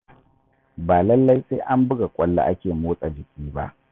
Ba lallai sai an buga ƙwallo ake motsa jiki ba.